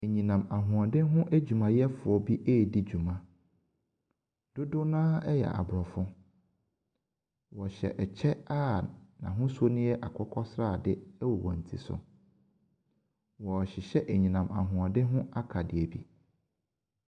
Anyina ahoden ho adwumayɛfoɔ ɛredi dwuma. Dodow no ara yɛ Aborɔfo. Wɔhyɛ ɛkyɛ a n'ahosu no ɛ akokɔsrade wɔ wɔn ti so. Wɔrehyehyɛ anyinam ahoɔden ho akadeɛ bi.